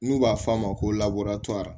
N'u b'a f'a ma ko